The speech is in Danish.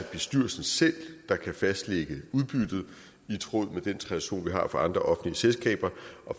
bestyrelsen selv der kan fastlægge udbyttet i tråd med den tradition vi har fra andre offentlige selskaber